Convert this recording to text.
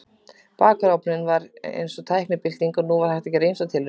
Bakarofninn var því eins og tæknibylting og nú var hægt að gera ýmsar tilraunir.